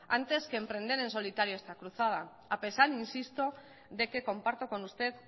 antes que emprender en solitario esta cruzada a pesar insisto de que comparto con usted